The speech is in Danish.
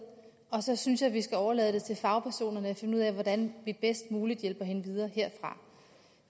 og så synes jeg vi skal overlade det til fagpersonerne at finde ud af hvordan vi bedst muligt hjælper hende videre herfra